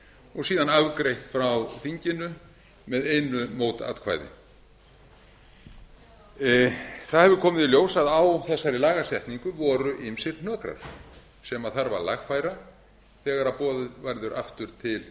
og síðan afgreitt frá þinginu með einu mótatkvæði það hefur komið í ljós að á þessari lagasetningu voru ýmsir hnökrar sem þarf að lagfæra þegar boðið verður aftur til